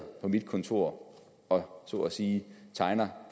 på mit kontor og så at sige tegne